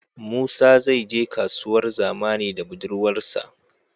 Musa zai je kasuwar zamani da budurwar sa